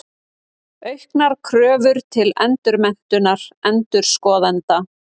Auknar kröfur til endurmenntunar endurskoðenda.